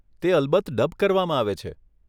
તે અલબત્ત ડબ કરવામાં આવે છે.